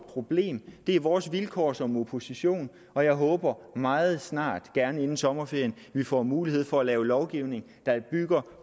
problem det er vores vilkår som opposition og jeg håber meget snart gerne inden sommerferien at vi får mulighed for at lave lovgivning der bygger